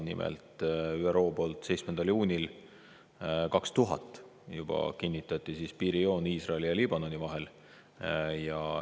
Nimelt, ÜRO kinnitas juba 7. juunil 2000 piirijoone Iisraeli ja Liibanoni vahel.